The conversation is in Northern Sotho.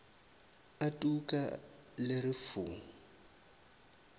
a tuka le re fu